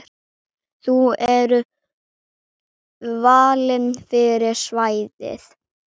Þau eru valin fyrir svæðið.